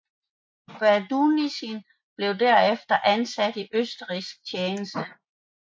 Baudissin blev derefter ansat i østrigsk tjeneste